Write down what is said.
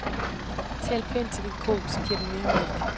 Tal pænt til din ko, så giver den mere mælk.